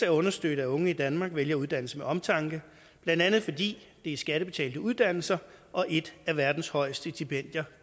at understøtte at unge i danmark vælger uddannelse med omtanke blandt andet fordi det er skattebetalte uddannelser og et af verdens højeste stipendier